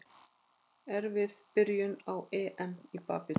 Erfið byrjun á EM í badminton